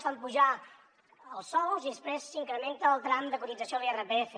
fan pujar els sous i després s’incrementa el tram de cotització a l’irpf